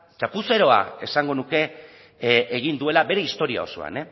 txapuzeroa esango nuke egin duela bere historia osoan